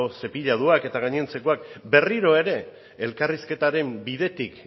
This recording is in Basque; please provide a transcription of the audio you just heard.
cepillatuak eta gainontzekoak berriro ere elkarrizketaren bidetik